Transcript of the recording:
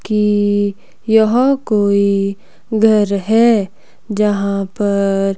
कि यहां कोई घर है यहां पर--